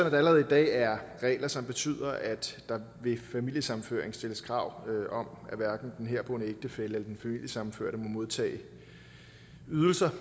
at der allerede i dag er regler som betyder at der ved familiesammenføring stilles krav om at hverken den herboende ægtefælle eller den familiesammenførte må modtage ydelser